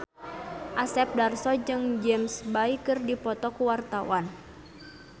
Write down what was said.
Asep Darso jeung James Bay keur dipoto ku wartawan